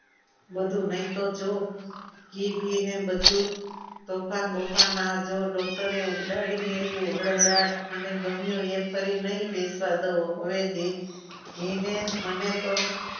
બધું લઈ તો જોવો ઘીબીને બધું તોફાન બુફાન આ જોવો તો એ ઉડાડી મેલ્યું હળહડાટમાં મને ગમ્યું એ ફરીથી નહિ બેસવા દઉં હવે ઘી ઘીને મને તો